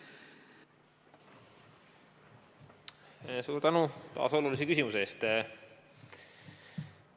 Suur tänu taas olulise küsimuse eest!